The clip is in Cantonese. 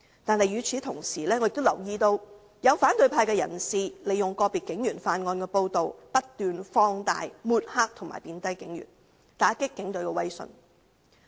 但與此同時，我亦留意到有反對派人士利用個別警員犯案的報道，不斷把事情放大，抹黑和貶低警員，打擊警隊的威信。